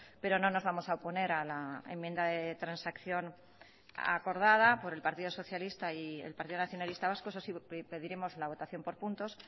pero no nos vamos a oponer a la enmienda de transacción acordada por el partido socialista y el partido nacionalista vasco eso sí pediremos la votación por puntos